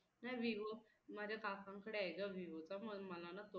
नाही vivo माझ्या काका कडे ग vivo तर म्हणून मला ना तो आवडला होता